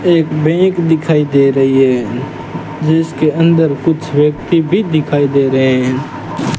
एक बैंक दिखाई दे रही है जिसके अंदर कुछ व्यक्ति भी दिखाई दे रहे हैं।